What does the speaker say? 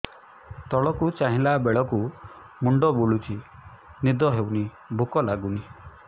ତଳକୁ ଚାହିଁଲା ବେଳକୁ ମୁଣ୍ଡ ବୁଲୁଚି ନିଦ ହଉନି ଭୁକ ଲାଗୁନି